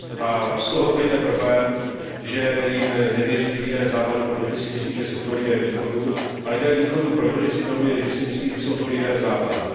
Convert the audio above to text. A z toho plyne problém, že jim nevěří lidé Západu, protože si myslí, že jsou to lidé Východu, a lidé Východu proto, že si myslí, že jsou to lidé Západu.